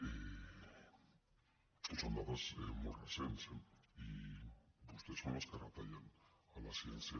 són dades molt recents eh i vostès són els que retallen a la ciència